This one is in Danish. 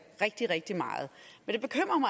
rigtig rigtig meget men